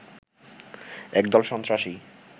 একদল সন্ত্রাসী